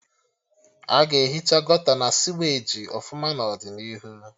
Aga ehicha Gọta na siweji ọfụma n'ọdịnihu